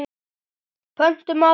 Pöntum aðra.